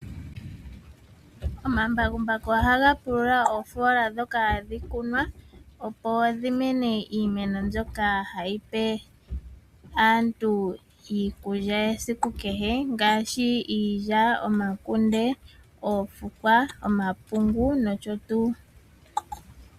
Omambakumbaku ohaga pulula oofoola ndhoka hadhi kunwa opo dhimene iimeno mbyoka hyipe aantu iikulya yesiku kehe ngaashi iilya, omakunde, omapungu, oofukwa nosho tuu.